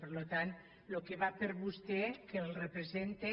per tant el que va per vostè que el representa